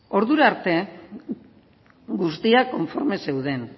ordura arte guztiak konforme zeuden